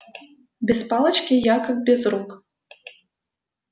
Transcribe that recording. без палочки я как без рук